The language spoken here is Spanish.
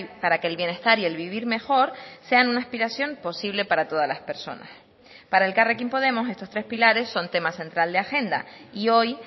para que el bienestar y el vivir mejor sean una aspiración posible para todas las personas para elkarrekin podemos estos tres pilares son tema central de agenda y hoy